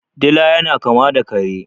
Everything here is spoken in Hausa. Dila yana kama da kare.